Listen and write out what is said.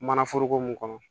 Mana foroko mun kɔnɔ